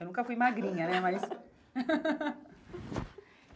Eu nunca fui magrinha, né? Mas